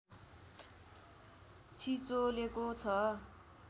छिचोलेको छ